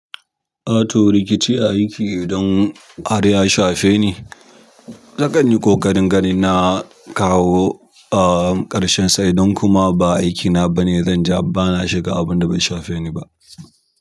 Ah to rikici a aiki idan har ya shafe ni, nakan yi ƙoƙarin ganin na kawo ah, ƙarshen sa idan kuma ba aiki na bane, zanja bana shiga abunda bai shafe ni bah.